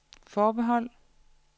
forbehold